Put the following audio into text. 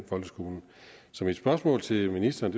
folkeskolen så mit spørgsmål til ministeren